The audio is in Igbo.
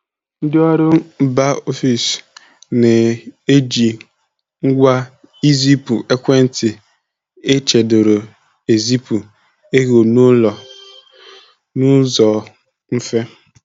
Ndị ọrụ mba ofesi na-eji ngwa izipu ekwentị echedoro ezipụ ego n'ụlọ n'ụzọ mfe.